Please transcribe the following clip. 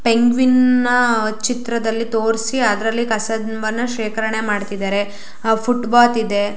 penguin ನ ಚಿತ್ರದಲ್ಲಿ ತೋರ್ಸಿ ಅದ್ರಲ್ಲಿ ಕಸದ ಮನ್ ಶೇಖರಣೆ ಮಾಡತ್ತಿದರೆ ಹ ಫುಟ್ ಪಾತ್ ಇದೆ